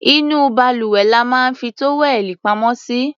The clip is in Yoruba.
Inú balùwẹ̀ la máa ń fi tówẹ́ẹ̀nù pamọ́ sí.